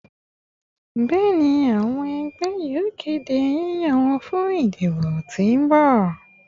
Bẹẹni, awọn ọmọ ẹgbẹ yoo kede yiyan wọn fun idibo ti n bọ